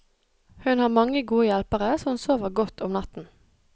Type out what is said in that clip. Hun har mange gode hjelpere, så hun sover godt om natten.